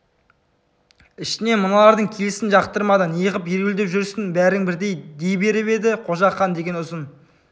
ішінен мыналардың келісін жақтырмады не ғып ереуілдеп жүрсің бәрің бірдей дей беріп еді қожақан деген ұзын